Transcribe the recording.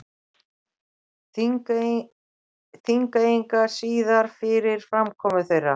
Þingeyinga síðar fyrir framkomu þeirra.